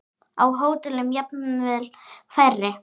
Á hótelum jafnvel færri.